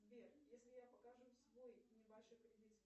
сбер если я покажу свой небольшой кредит